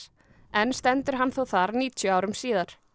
enn stendur hann þó þar níutíu árum síðar